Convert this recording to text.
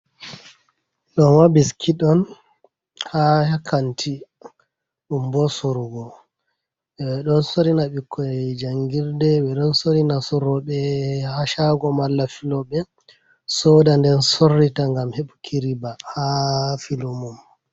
Doma biskiɗ on ha hakanti dum bo sorugo, ɓedo sorina ɓikkoi jangirde be don sorina sorrobe hashago mala filobe soda nden sorrita gam hebuki riba ha filumum.